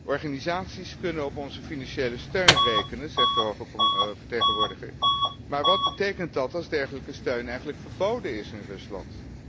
Organisaties kunnen op onze financiële steun rekenen, zegt de hoge vertegenwoordiger, maar wat betekent dat als dergelijke steun eigenlijk verboden is in Rusland.